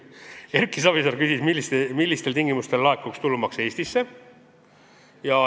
Erki Savisaar küsis, millistel tingimustel laekuks tulumaks Eestisse.